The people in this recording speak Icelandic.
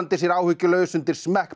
sér áhyggjulaus undir